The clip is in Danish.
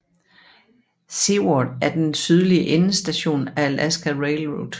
Seward er den sydlige endestation af Alaska Railroad